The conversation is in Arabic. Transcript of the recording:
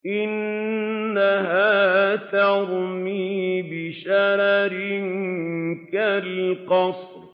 إِنَّهَا تَرْمِي بِشَرَرٍ كَالْقَصْرِ